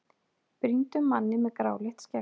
brýndum manni með gráleitt skegg.